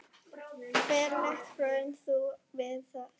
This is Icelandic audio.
Ferlegt hraun þú víða sérð.